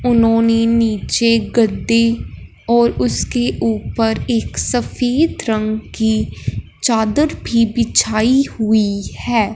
उन्होंने नीचे गद्दे और उसके ऊपर एक सफेद रंग की चादर भी बिछाई हुई है।